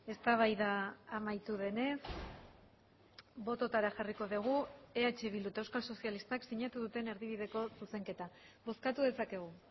eztabaida amaitu denez bototara jarriko dugu eh bildu eta euskal sozialistak sinatu duten erdibideko zuzenketa bozkatu dezakegu